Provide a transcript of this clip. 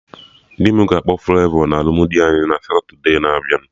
Dị m ga-akpọ Flavọ na alụmdi anyị na Satode na-abịa